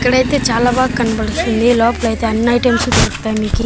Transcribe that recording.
ఇక్కడైతే చాలా బాగా కనపడిస్తుంది లోపలైతే అన్ని ఐటమ్స్ దొరుకుతాయి మీకి.